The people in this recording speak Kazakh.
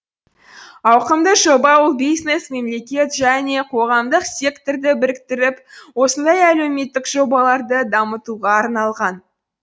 ауқымды жоба ол бизнес мемлекет және қоғамдық секторды біріктіріп осындай әлеуметтік жобаларды дамытуға арналған